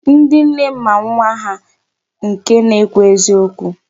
Ndị nne ma nwa ha nke na-ekwu eziokwu.